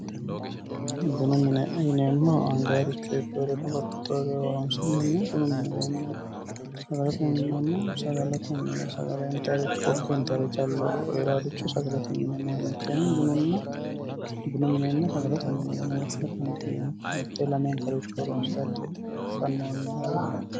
Bunu mine yineemmohu anganirucho iibbinore horonsi'neemmo bunu mineti ,sagalete mine yineemmohu sagale intaniricho kokke intanire calla Heeraricho sagalete mine yineemmo, mitteenni bununna sagalete mine yinne woshsha dandiineemmo ,mitteenni lamenkaricho horonsirate fanonniho yaate